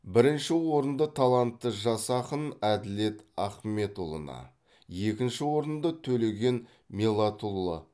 бірінші орынды талантты жас ақын әділет ахметұлына екінші орынды төлеген меллатұлы